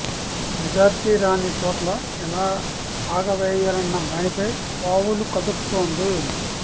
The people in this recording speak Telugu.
మెజారిటీ రాని చోట్ల ఎలా పాగా వేయాలన్న దానిపై పావులు కదుపుతోంది